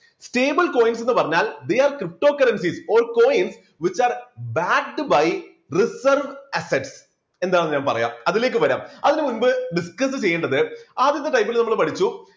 stablecoins ന്ന് പറഞ്ഞാൽ they are cryptocurrencies or coins which are backed by reserve assets എന്താണ് ഞാൻ പറയാം അതിലേക്ക് വരാം അതിനുമുമ്പ് discuss ചെയ്യേണ്ടത് ആദ്യത്തെ type ല് നമ്മൾ പഠിച്ചു